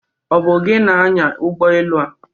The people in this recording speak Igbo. Ọ bụ gị na-anya ụgbọ elụ a?